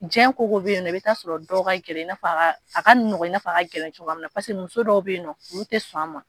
Diɲɛ koko bɛ yen nɔ i bɛ ta sɔrɔ dɔw ka gɛlɛn i na fɔ a ka a ka nɔgɔn ina fɔ a ka gɛlɛn cogoya min na paseke muso dɔw bɛ yen nɔ olu tɛ sɔn a ma.